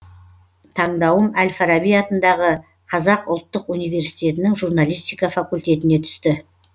таңдауым әл фараби атындағы қазақ ұлттық университетінің журналистика факультетіне түсті